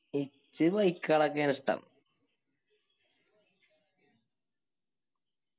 എൻക്ക് bike കളൊക്കെയാണ് ഇഷ്ട്ടം